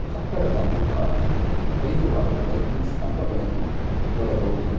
ಕಟ್ಟಡದ ಮುಂಭಾಗ ಹೈದು ಆರು ಲೈಟಿಂಗ್ಸ್ ಕಂಬಗಳನ್ನು ನೋಡಬಹುದು.